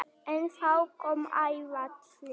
En þá kom áfallið.